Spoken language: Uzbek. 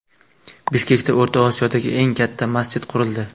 Bishkekda O‘rta Osiyodagi eng katta masjid qurildi.